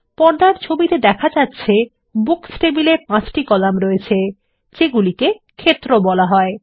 পর্দার ছবিতে দেখা যাচ্ছে বুকস টেবিলে ৫ টি কলাম আছে যেগুলিকে ক্ষেত্র বলা হয়